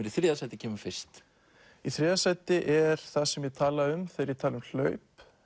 í þriðja sæti kemur fyrst í þriðja sæti er það sem ég tala um þegar ég tala um hlaup